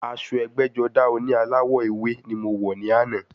Aṣọ ẹgbẹ́-jọdá oní aláwọ̀ ewé ni mo wọ̀ ní àná.